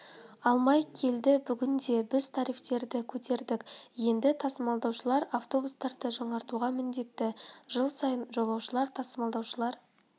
алмай келді бүгінде біз тарифтерді көтердік енді тасымалдаушылар автобустарды жаңартуға міндетті жыл сайын жолаушылар тасымалдаушылар